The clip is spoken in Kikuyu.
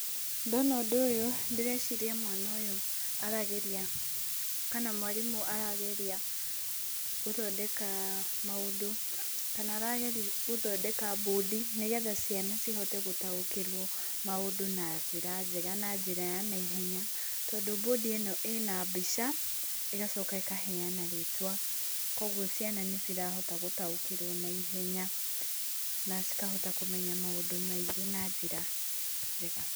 Ndona ũndũ ũyũ, ndĩreciria mwana ũyũ arageria, kana mwarimũ arageria gũthondeka, maũndũ, kana arageria gũthondeka bondi, nĩgetha ciana cihote gũtaũkĩrwo maũndũ na njĩra njega, na njĩra ya naihenya, tondũ bondi ĩno ina mbica, ĩgacoka ĩkaheana rĩtwa, koguo ciana nĩ cirahota gũtaũkĩrwo naihenya, nacikahota kũmenya maũndũ maingĩ na njĩra njega.